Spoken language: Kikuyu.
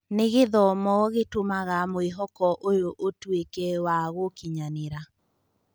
Nĩ gĩthomo gĩtũmaga mwĩhoko ũyũ ũtuĩke wa gũkinyanĩra.